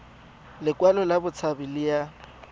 lekwalo la botshabi le ya